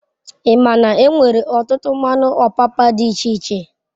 Ima n'enwere otutu mmanu opapa d'iche iche